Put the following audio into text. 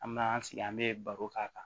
An me na an sigi an be baro k'a kan